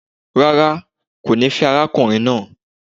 Rárá, kò ní fẹ́ arákùnrin naa